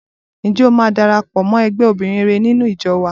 Ǹjẹ́ o máa darapọ̀ mọ́ ẹgbẹ́ obìnrin rere nínú ìjọ wá?